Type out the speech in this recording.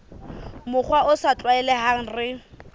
mokgwa o sa tlwaelehang re